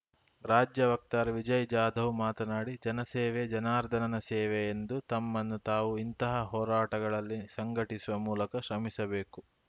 ರಾಜ್ಯ ವಕ್ತಾರ ವಿಜಯಜಾಧವ್‌ ಮಾತನಾಡಿ ಜನಸೇವೆ ಜನಾರ್ಧನನ ಸೇವೆ ಎಂದು ತಮ್ಮನ್ನು ತಾವು ಇಂತಹ ಹೋರಾಟಗಳಲ್ಲಿ ಸಂಘಟಿಸುವ ಮೂಲಕ ಶ್ರಮಿಸಬೇಕು